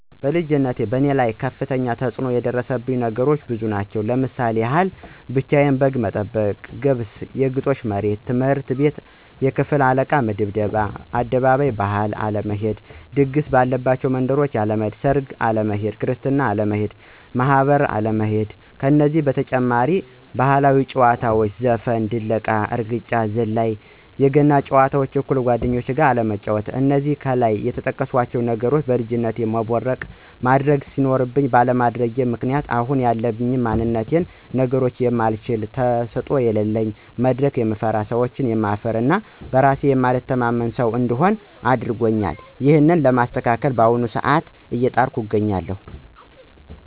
በልጅነቴ በእኔ ላይ ከፍተኛ ተፅኖ ያደረሱብኝ ነገሮች ብዙ ናቸው። እስቲ የማስታውሳቸውን ለመግለፅ ያክል፦ ብቻየን በግ ጥበቃ በቤተሰቦቼ ጉብስ(የግጦሽ መሬት)፣ትምህርት ቤት የክፍል አለቃ ድብደባ፣ ወደ አደባባይ ባህል አለመሄድ፣ ድግስ ባለባቸው መንደሮች አለመሄድ፣ ሰርግ አለመሄድ፣ ክርስትና አለመሄድ እና ማህበር አለመሄድ ናቸው። ከነዚህ በተጨማሪ ባህላዊ ጨዋታዎች ማለትም ዘፈን፣ ድለቃ፣ እርግጫ፣ ዝላይ እና የገና ጨዋታ አኩል እንደጓደኞቼ አለመጫዎት። እነዚህ ከላይ የጠቀስኳቸው ነገሮች በልጅነቴ መቦረቅ እና ማድረግ ሲኖርብኝ ባለማድረጌ ምክንያት አሁን ያለኝ ማንነት ብዙ ነገሮችን የማልችል፣ ተሰጦ የለለኝ፣ መድረክ የምፈራ፣ ሰዎችን የምፈራ እና በእራሴ የማልተማመን ሰው እንድሆን አድርጎኛል። ይህንን ለማስተካከል በአሁኑ ሰአት አየጣርኩ አገኛለሁ።